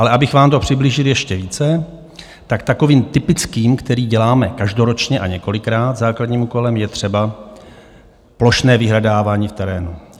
Ale abych vám to přiblížili ještě více, tak takovým typickým - který děláme každoročně a několikrát - základním úkolem je třeba plošné vyhledávání v terénu.